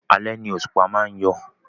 Alẹ́ ni òṣùpá má ń yọ